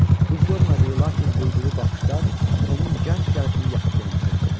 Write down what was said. Bu görmədiyi, lakin duyduğu baxışlar onun gənc qəlbini yaxıb yandırırdı.